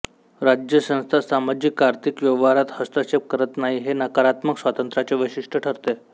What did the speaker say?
राज्यसंस्था सामाजिक आर्थिक व्यवहारात हस्तक्षेप करत नाही हे नकारात्मक स्वातंत्र्याचे वैशिष्ट्य ठरते